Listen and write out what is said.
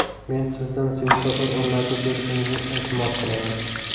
Men sizdan svetofor o‘rnatib berishingizni iltimos qilaman.